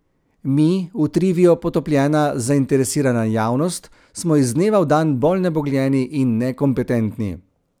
Mi, v trivijo potopljena zainteresirana javnost, smo iz dneva v dan bolj nebogljeni in nekompetentni.